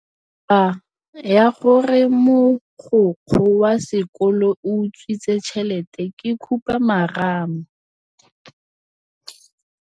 Taba ya gore mogokgo wa sekolo o utswitse tšhelete ke khupamarama.